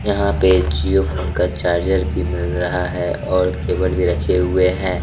यहां पे जिओ फोन का चार्जर भी मिल रहा है और केबल भी रखे हुए हैं।